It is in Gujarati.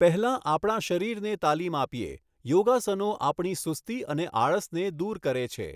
પહેલાં આપણા શરીરને તાલીમ આપીએ. યોગાસનો આપણી સુસ્તી અને આળસને દૂર કરે છે.